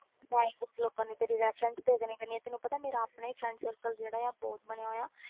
ਤੇ ਮੈਂ ਹੀ ਕੁਛ ਲੋਕਾਂ ਨੂੰ ਤੇਰੀ reference ਦੇ ਦੇਣੀ ਕਰਨੀ ਆਂ ਤੈਨੂੰ ਪਤਾ ਮੇਰੇ ਆਪਣੇ friend circle ਜਿਹੜਾ ਆ ਬਹੁਤ ਬਣਿਆ ਹੋਇਆ